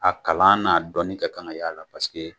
A kalan n'a dɔnni ka kan ka y'a la